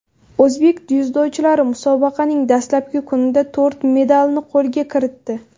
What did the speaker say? O‘zbek dzyudochilari musobaqaning dastlabki kunida to‘rt medalni qo‘lga kiritdi.